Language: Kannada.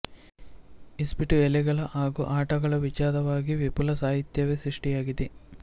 ಇಸ್ಪೀಟು ಎಲೆಗಳ ಹಾಗೂ ಆಟಗಳ ವಿಚಾರವಾಗಿ ವಿಪುಲ ಸಾಹಿತ್ಯವೇ ಸೃಷ್ಟಿಯಾಗಿದೆ